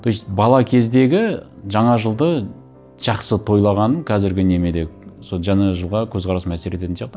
то есть бала кездегі жаңа жылды жақсы тойлағаным қазіргі неме де сол жаңа жылға көзқарасыма әсер ететін сияқты